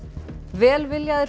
velviljaðir